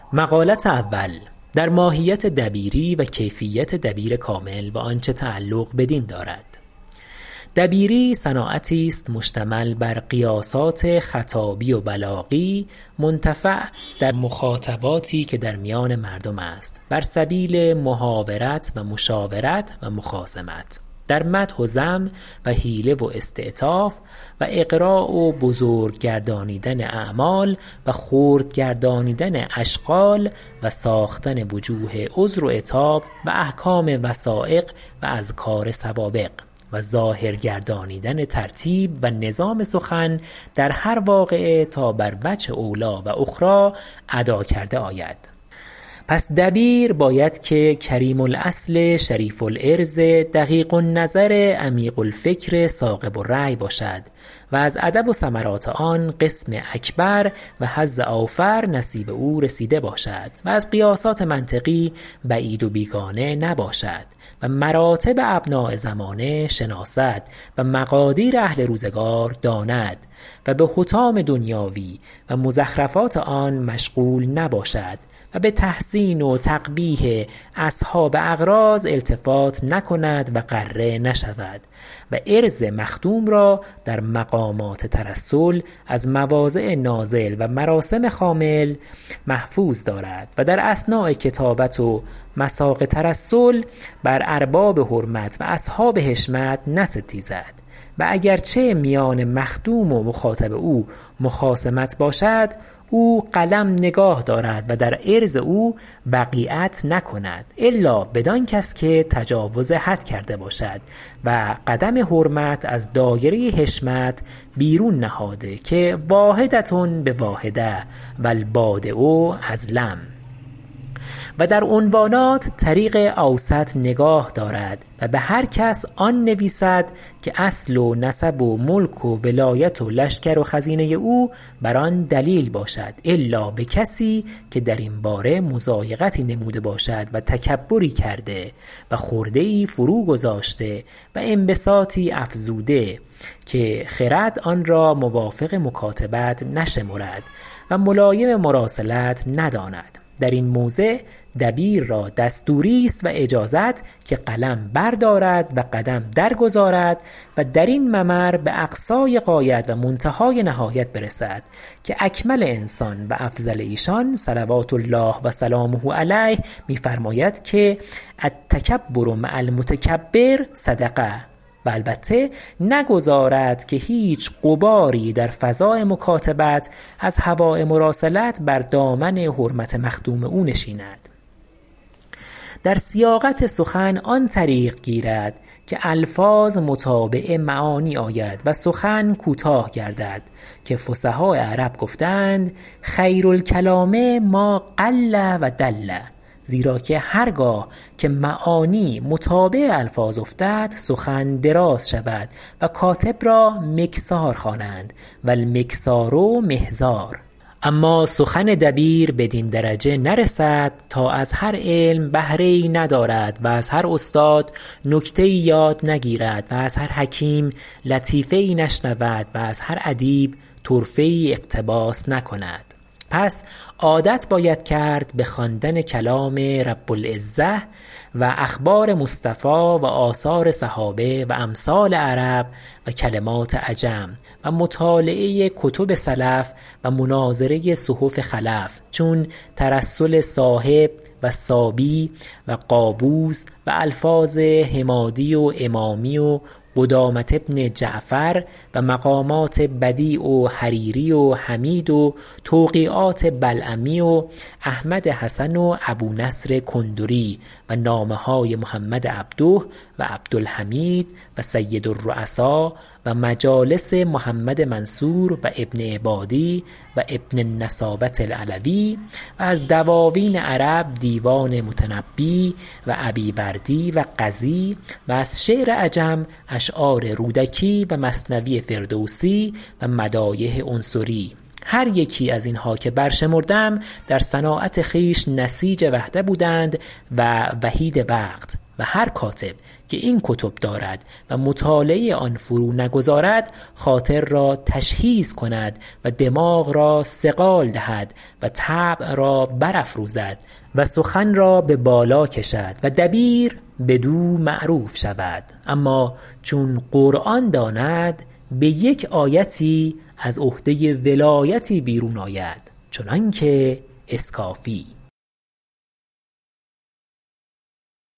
دبیری صناعتی است مشتمل بر قیاسات خطابی و بلاغی منتفع در مخاطباتی که در میان مردم است بر سبیل محاورت و مشاورت و مخاصمت در مدح و ذم و حیله و استعطاف و اغراء و بزرگ گردانیدن اعمال و خرد گردانیدن اشغال و ساختن وجوه عذر و عتاب و احکام وثایق و اذکار سوابق و ظاهر گردانیدن ترتیب و نظام سخن در هر واقعه تا بر وجه اولی و اخری ادا کرده آید پس دبیر باید که کریم الأصل شریف العرض دقیق النظر عمیق الفکر ثاقب الرأی باشد و از ادب و ثمرات آن قسم اکبر و حظ اوفر نصیب او رسیده باشد و از قیاسات منطقی بعید و بیگانه نباشد و مراتب ابناء زمانه شناسد و مقادیر اهل روزگار داند و بحطام دنیاوی و مزخرفات آن مشغول نباشد و بتحسین و تقبیح اصحاب أغراض و ارباب اغماض التفات نکند و غره نشود و عرض مخدوم را در مقامات ترسل از مواضع نازل و مراسم خامل محفوظ دارد و در اثناء کتابت و مساق ترسل بر ارباب حرمت و اصحاب حشمت نستیزد و اگر چه میان مخدوم و مخاطب او مخاصمت باشد او قلم نگاه دارد و در عرض او وقیعت نکند الا بدانکس که تجاوز حد کرده باشد و قدم حرمت از دایره حشمت بیرون نهاده که واحدة بواحدة و البادیء اظلم و در عنوانات طریق اوسط نگاه دارد و بهر کس آن نویسد که اصل و نسب و ملک و ولایت و لشکر و خزینه او بر آن دلیل باشد الا بکسی که درین باره مضایقتی نموده باشد و تکبری کرده و خرده ای فرو گذاشته و انبساطی افزوده که خرد آن را موافق مکاتبت نشمرد و ملایم مراسلت بداند درین موضع دبیر را دستوری است و اجازت که قلم بردارد و قدم درگذارد و درین ممر باقصای غایت و منتهای نهایت برسد که اکمل انسان و افضل ایشان صلوات الله و سلامه علیه می فرماید که التکبر مع المتکبر صدقه و البته نگذارد که هیچ غباری در فضاء مکاتبت از هواء مراسلت بر دامن حرمت مخدوم او نشیند و در سیاقت سخن آن طریق گیرد که الفاظ متابع معانی آیند و سخن کوتاه گردد که فصحاء عرب گفته اند خیر الکلام ما قل و دل زیرا که هر گاه که معانی متابع الفاظ افتد سخن دراز شود و کاتب را مکثار خوانند و المکثار مهذار اما سخن دبیر بدین درجه نرسد تا از هر علم بهره ای ندارد و از هر استاد نکته ای یاد نگیرد و از هر حکیم لطیفه ای نشنود و از هر ادیب طرفه ای اقتباس نکند پس عادت باید کرد بخواندن کلام رب العزة و اخبار مصطفی و آثار اصحابه و امثال عرب و کلمات عجم و مطالعه کتب سلف و مناظره صحف خلف چون ترسل صاحب و صابی و قابوس و الفاظ حمادی و امامی و قدامة بن جعفر و مقامات بدیع و حریری و حمید و توقیعات بلعمی و احمد حسن و ابونصر کندری و نامه های محمد عبده و عبدالحمید و سید الرؤساء و مجالس محمد منصور و ابن عبادی و ابن النسابة العلوی و از دواوین عرب دیوان متنبی و ابیوردی و غزی و از شعر عجم اشعار رودکی و مثنوی فردوسی و مدایح عنصری هر یکی از اینها که بر شمردم در صناعت خویش نسیج وحده بودند و وحید وقت و هر کاتب که این کتب دارد و مطالعه آن فرو نگذارد خاطر را تشحیذ کند و دماغ را صقال دهد و طبع را برافروزد و سخن را ببالا کشد و دبیر بدو معروف شود اما چون قرآن داند بیک آیتی از عهده ولایتی بیرون آید چنانکه اسکافی